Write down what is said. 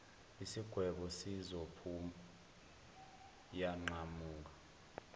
isigwebo sizophu yanqamuka